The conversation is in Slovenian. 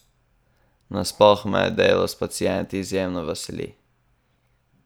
Nasploh me delo s pacienti izjemno veseli!